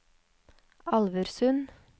Alversund